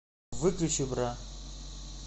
выключи бра